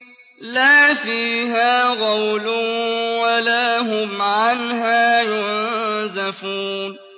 لَا فِيهَا غَوْلٌ وَلَا هُمْ عَنْهَا يُنزَفُونَ